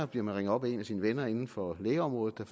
bliver man ringet op af en af sine venner inden for lægeområdet der